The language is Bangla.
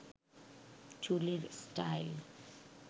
চুলের স্টাইল